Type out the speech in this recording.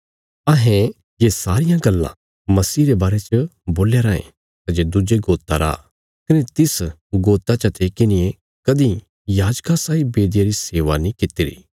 अहें ये सारियां गल्लां समीह रे बारे च बोल्या राँये सै जे दुज्जे गोता रा कने तिस गोता चते किन्हिये कदीं याजका साई बेदिया री सेवा नीं कित्तिरी